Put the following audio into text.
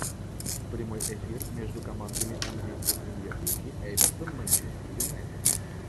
прямой эфир между командами английской премьер лиги эвертон манчестер юнайтед